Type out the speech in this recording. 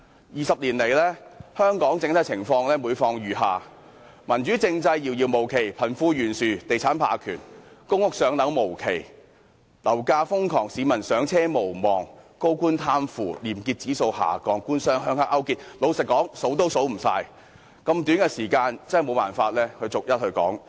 二十年來，香港整體情況每況愈下，民主政制遙遙無期，貧富懸殊，地產霸權，公屋"上樓"無期，樓價瘋狂，市民"上車"無望，高官貪腐，廉潔指數下降，"官商鄉黑"勾結，老實說，多不勝數，在如此短的時間內無法逐一說出。